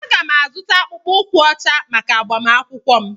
Aga m-azụta akpụkpọ ụkwụ ọcha maka agbamakwụkwọ m.